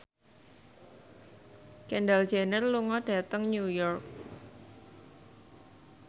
Kendall Jenner lunga dhateng New York